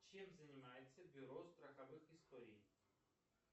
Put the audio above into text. чем занимается бюро страховых историй